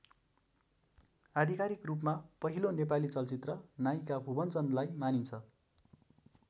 आधिकारिक रूपमा पहिलो नेपाली चलचित्र नायिका भुवन चन्दलाई मानिन्छ।